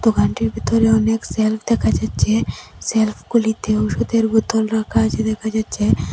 দোকানটির ভিতরে অনেক সেলফ দেখা যাচ্ছে সেলফ -গুলিতে ওষুধের বোতল রাখা আছে দেখা যাচ্ছে।